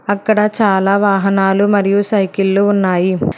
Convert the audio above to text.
అక్కడ చాలా వాహనాలు మరియు సైకిల్లు ఉన్నాయి.